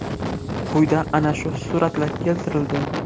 Quyida ana shu suratlar keltirildi.